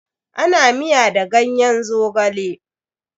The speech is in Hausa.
Ana miya da ganyen Zogale.